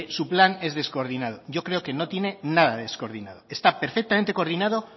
su plan es descoordinado yo creo que no tiene nada de descoordinado está perfectamente coordinado